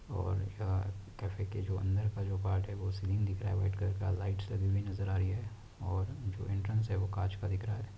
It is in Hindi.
और यह कैफै के जो अंदर के जो पार्ट है सीलिंग दिख रहा है वाइट कलर का लाइट भी नजर आ रही है और जो एंटरेंस वो कांच का दिख रहा है।